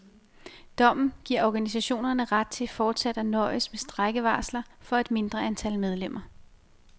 Dommen giver organisationerne ret til fortsat at nøjes med strejkevarsler for et mindre antal medlemmer.